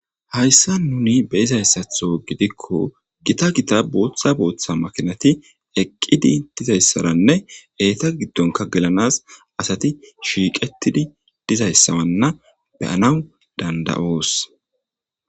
Hayssan nuni be'izayisato gidiko gitta gitta botta botta makinati eqidi diyayisarane eta gidonika gelanas asati shiqetid didayisamalen be'anaw danda'os.